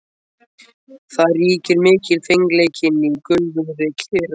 Þar ríkir mikilfengleikinn í göfugri kyrrð.